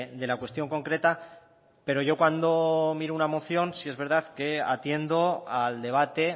de la cuestión concreta pero yo cuando miro una moción sí es verdad que atiendo al debate